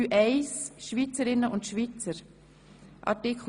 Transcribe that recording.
3.1 Schweizerinnen und Schweizer Art.